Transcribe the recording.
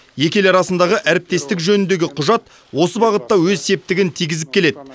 екі ел арасындағы әріптестік жөніндегі құжат осы бағытта өз септігін тигізіп келеді